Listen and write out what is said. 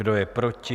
Kdo je proti?